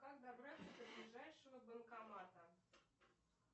как добраться до ближайшего банкомата